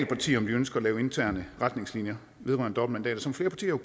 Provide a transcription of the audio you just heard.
partier om de ønsker at lave interne retningslinjer vedrørende dobbeltmandater som flere partier jo